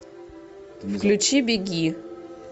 включи беги